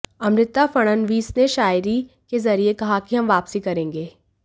अमृता फडणवीस ने शायरी के जरिए कहा कि हम वापसी करेंगे